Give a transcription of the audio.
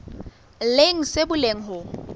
leng se bolelang hore ho